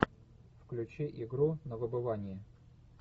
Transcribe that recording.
включи игру на выбывание